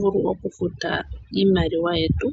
longa iimaliwa yetu.